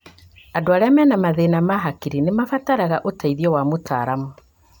Andũ arĩa mena mathĩna ma hakiri nĩmarabatara ũteithio wa mũtaramu